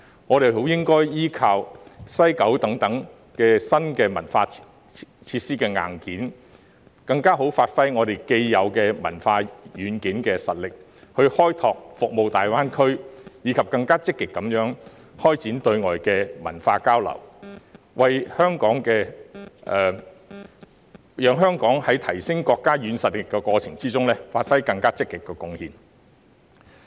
我們應該利用西九等新文化設施硬件，更充分發揮我們既有的文化軟件實力，從而開拓大灣區市場，以及更積極開展對外的文化交流，讓香港在提升國家軟實力的過程中，作出更積極的貢獻。